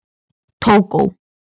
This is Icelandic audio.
Tógó